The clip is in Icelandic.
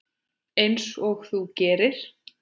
Einsog þú gerir?